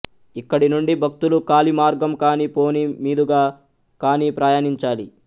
ఇక్కడి నుండి భక్తులు కాలి మార్గం కానీ పోనీ మీదుగా కానీ ప్రయాణించాలి